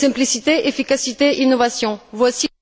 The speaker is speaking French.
Simplicité, efficacité, innovation, voici